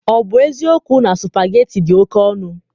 Ọ bụ eziokwu na supageti dị oke ọnụ?